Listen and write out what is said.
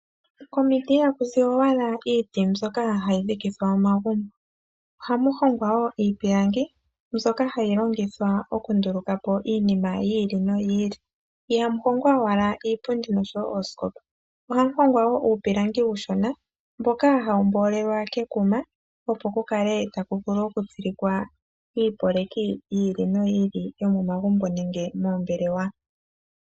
Komiiti iha kui owala iiti mbyoka hayi dhikithwa omagumbo, ohamu hongwa wo iipilangi mbyoka hayi longithwa oku nduluka po iinima yili noyi ili. Ihamu hongwa owala iipundi noshowo oosikopa, ohamu hongwa wo uupilangi uushona mboka hawu mboolelwa kekuma, opo ku kale taku vulu oku tsilikwa iipeleki yiili noyi ili yomomagumbo nenge moombelewa.